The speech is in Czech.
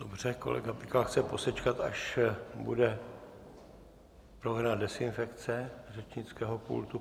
Dobře, kolega Pikal chce posečkat, až bude provedena dezinfekce řečnického pultu.